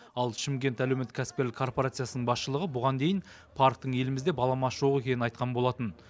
ал шымкент әлеуметтік кәсіпкерлік корпорациясының басшылығы бұған дейін парктің елімізде баламасы жоқ екенін айтқан болатын